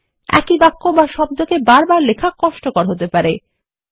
একই বাক্য বা শব্দকে বার বার লেখা কষ্টকর হতে পারে